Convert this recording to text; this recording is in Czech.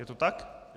Je to tak?